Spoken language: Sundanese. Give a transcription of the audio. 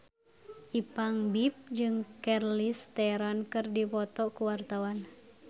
Ipank BIP jeung Charlize Theron keur dipoto ku wartawan